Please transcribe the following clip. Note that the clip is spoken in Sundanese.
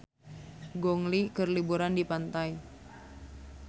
Gong Li keur liburan di pantai